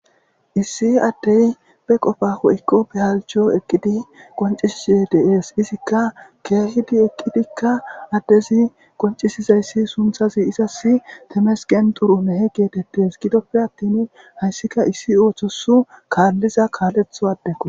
issi addey be qofa ho7ikko behaljho eqqidi qoncisisize deees izikka keehidi eqqidikka addezi qoncisizayssi sunthazi izas temesken duru mehe geetettes gidoppe attin hayssika issi ooththosu kaalliza kaaletho addeko